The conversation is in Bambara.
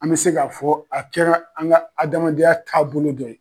An bɛ se ka fɔ a kɛra an ka adamadenya taabolo dɔ ye.